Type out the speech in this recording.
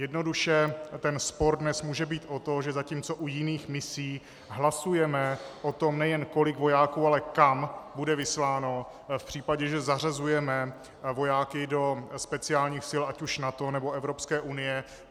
Jednoduše ten spor dnes může být o to, že zatímco u jiných misí hlasujeme o tom, nejen kolik vojáků, ale kam bude vysláno v případě, že zařazujeme vojáky do speciálních sil ať už NATO, nebo Evropské unie.